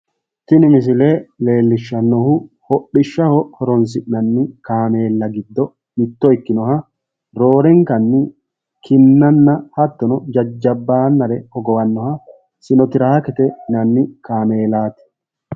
tini misile lellishshannohu hodhishshaho horo'sinanni kaameella giddo mitto ikkinoha roorenkanni kinnanna hattono, jajjabbannare hogowannoha sinotraakete yinanni kaameelaati.